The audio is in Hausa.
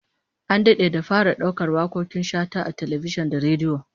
An dade da fara daukar wakokin Shata a talbijin da rediyo